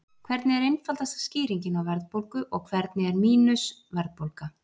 hvernig er einfaldasta skýringin á verðbólgu og hvernig er „mínus“ verðbólga